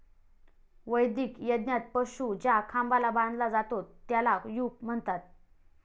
वैदिक यज्ञात पशु ज्या खांबाला बांधला जातो, त्याला 'यूप' म्हणतात.